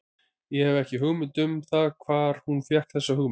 Ég hef ekki hugmynd um það hvar hann fékk þessa hugmynd.